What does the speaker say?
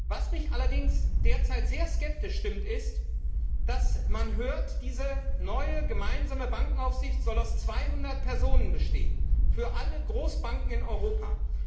Was mich allerdings derzeit sehr skeptisch stimmt, ist, dass man hört, diese neue gemeinsame Bankenaufsicht solle aus 200 Personen bestehen für alle Großbanken in Europa.